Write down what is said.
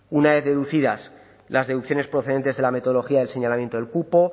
una vez producidas las deducciones procedentes de la metodología de señalamiento del cupo